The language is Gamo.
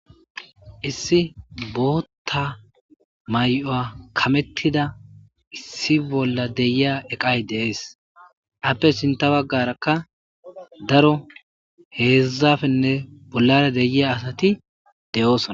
Issi botta mayuwa kamnettida issi bolla deyiya eqqayi de'es appe sinta bagarakka daro hedzdzappenne bollara de'iya asati de'ossona.